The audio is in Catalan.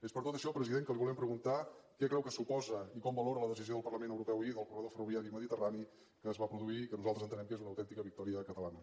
és per tot això president que li volem preguntar què creu que suposa i com valora la decisió del parlament europeu ahir del corredor ferroviari mediterrani que es va produir que nosaltres entenem que és una autèntica victòria catalana